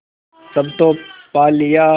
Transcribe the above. सब तो पा लिया